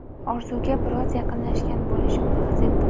"orzu" ga biroz yaqinlashgan bo‘lishimni his etdim.